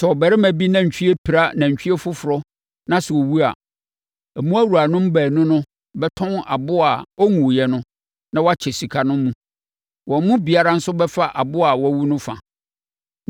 “Sɛ ɔbarima bi nantwie pira nantwie foforɔ na sɛ ɔwu a, mmoawuranom baanu no bɛtɔn aboa a ɔnwuiɛ no na wɔakyɛ sika no mu. Wɔn mu biara nso bɛfa aboa a wawu no fa.